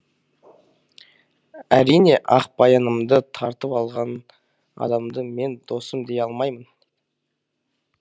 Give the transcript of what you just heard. әрине ақбаянымды тартып алған адамды мен досым дей алмаймын